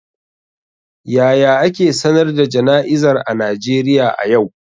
Yaya ake sanar da jana'izar a Najeriya a yau?